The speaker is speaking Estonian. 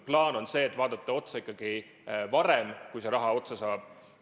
Plaan on see, et vaadata seda ikkagi varem, kui raha otsa saab.